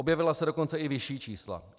Objevila se dokonce i vyšší čísla.